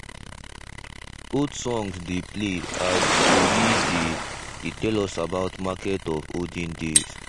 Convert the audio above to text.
old songs dey play as tori dey dey tell us about market of olden days.